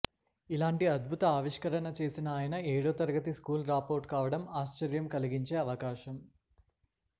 ఇలాంటి అద్భుత ఆవిష్కరణ చేసిన ఆయన ఏడో తరగతి స్కూల్ డ్రాపవుట్ కావడం ఆశ్చర్యం కలిగించే అంశం